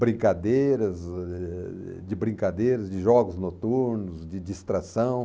brincadeiras, eh, de brincadeiras, de jogos noturnos, de distração.